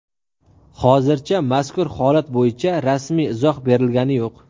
Hozircha mazkur holat bo‘yicha rasmiy izoh berilgani yo‘q.